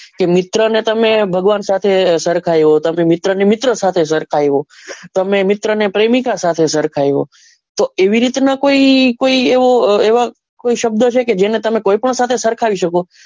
કે મિત્ર ને તમ્મે ભગવાન સાથે સરખાયો તમે મિત્ર ને મિત્ર સાથે સરખાયો તમે મિત્ર ને પ્રેમિકા સાથે સરખાયો તો એવી રીત ના કોઈ એવા કોઈ એવો શબ્દ છે જેને તમે કોઈ પણ સાથે સરખાવી શકો.